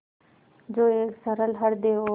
जो एक सरल हृदय और